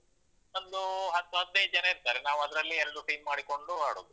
ಒಂದು ಹತ್ತು ಹದ್ನೈದ್ ಜನ ಇರ್ತಾರೆ. ನಾವದ್ರಲ್ಲಿ ಎರಡು team ಮಾಡಿಕೊಂಡು ಆಡುದು.